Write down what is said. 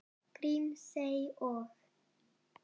Grímsey og